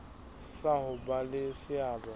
sa ho ba le seabo